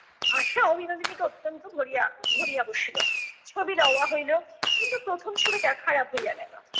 আশাও বিনোদিনীকে অত্যন্ত ভরিয়া ধরিয়া বসিলো, ছবি দেওয়া হইলো। কিন্তু প্রথম ছবিটা খারাপ হইয়া গেলো।